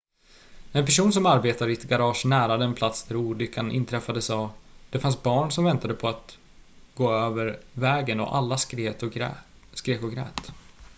"en person som arbetar i ett garage nära den plats där olyckan inträffade sa: "det fanns barn som väntade på att gå över vägen och alla skrek och grät.""